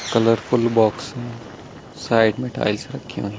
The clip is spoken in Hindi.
कलरफुल बॉक्स हैं साइड में टाइल्स रखी हुई--